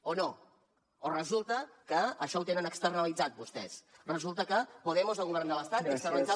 o no o resulta que això ho tenen externalitzat vostès resulta que podemos al govern de l’estat ha externalitzat